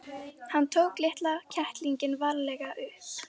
Hann tók litla kettlinginn varlega upp.